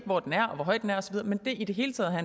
hvor den er og hvor høj den er osv men det i det hele taget at